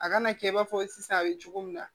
A kana kɛ i b'a fɔ sisan a bɛ cogo min na